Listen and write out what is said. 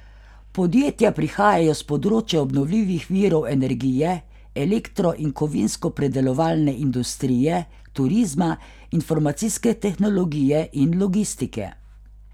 Podjetja prihajajo s področja obnovljivih virov energije, elektro in kovinsko predelovalne industrije, turizma, informacijske tehnologije in logistike.